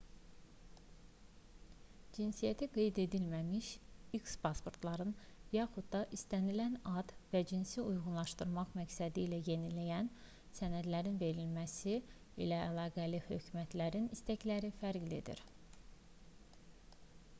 cinsiyyəti qeyd edilməmiş x pasportların yaxud da istənilən ad və cinsi uyğunlaşdırmaq məqsədilə yenilənən sənədlərin verilməsi ilə əlaqəli hökumətlərin istəkləri fərqlidir